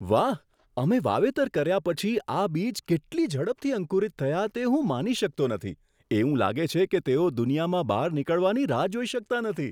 વાહ, અમે વાવેતર કર્યા પછી આ બીજ કેટલી ઝડપથી અંકુરિત થયા તે હું માની શકતો નથી. એવું લાગે છે કે તેઓ દુનિયામાં બહાર નીકળવાની રાહ જોઈ શકતા નથી!